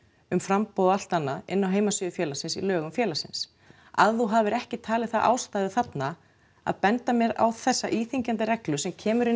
um framboð og allt annað inni á heimasíðu félagsins í lögum félagsins að þú hafir ekki talið það ástæðu þarna að benda mér á þessa íþyngjandi reglu sem kemur inn